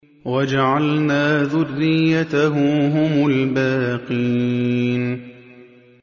وَجَعَلْنَا ذُرِّيَّتَهُ هُمُ الْبَاقِينَ